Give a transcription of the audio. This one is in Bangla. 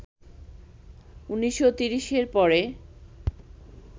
১৯৩০এর পরে